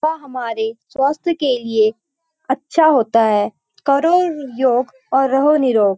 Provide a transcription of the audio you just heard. वह हमारे स्वास्थ्य के लिए अच्छा होता है करो योग और रहो निरोग --